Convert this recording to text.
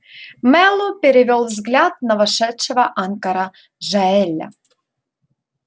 мэллоу перевёл взгляд на вошедшего анкора джаэля